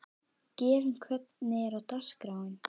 Gefjun, hvernig er dagskráin?